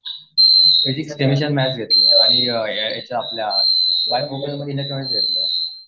physics, chemistry आणि maths घेतलंय आणि आपल्या